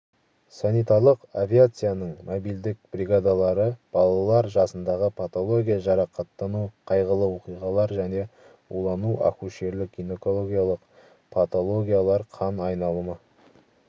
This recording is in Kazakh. санитарлық авиацияның мобильдік бригадалары балалар жасындағы патология жарақаттану қайғылы оқиғалар және улану акушерлік-гинекологиялық патологиялар қан айналымы